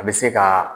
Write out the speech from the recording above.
A bɛ se ka